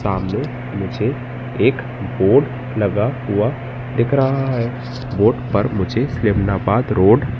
सामने मुझे एक बोर्ड लगा हुआ दिख रहा है बोर्ड पर मुझे फिल्मनाबाद रोड --